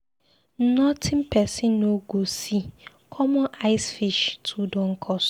Notin person no go see, common ice fish too don cost.